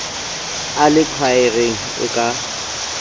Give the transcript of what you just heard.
a le khwaereng e ka